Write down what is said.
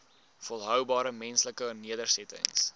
volhoubare menslike nedersettings